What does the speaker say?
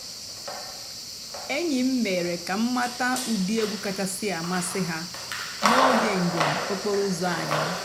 ényí m mèéré kà m màtàà ụ́dị́ ègwú kàchàsị́ àmásị́ há n'óge ǹjéém òkpòró ụ́zọ́ ànyị́.